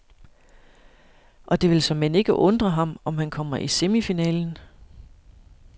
Og det vil såmænd ikke undre ham, om han kommer i semifinalen.